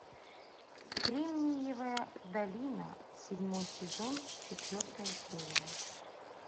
кремниевая долина седьмой сезон четвертая серия